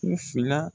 U fila